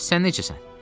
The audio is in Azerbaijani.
Bəs sən necəsən?